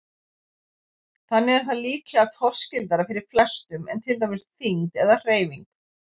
Þannig er það líklega torskildara fyrir flestum en til dæmis þyngd eða hreyfing.